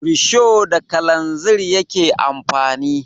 Risho da kalanzir yake amfani